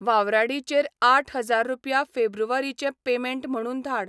वावराडी चेर आठ हजार रुपया फेब्रुवारी चें पेमेंट म्हुणून धाड